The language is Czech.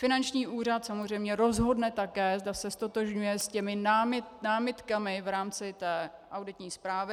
Finanční úřad samozřejmě rozhodne také, zda se ztotožňuje s těmi námitkami v rámci té auditní zprávy.